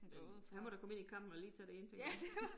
Men han må da komme ind i kampen og lige tage den ene ting op